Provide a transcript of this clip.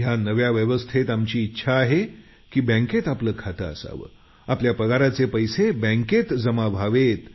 या नव्या व्यवस्थेत आमची इच्छा आहे की बँकेत आपलं खातं असावं पगाराचे पैसे बँकेत जमा व्हावेत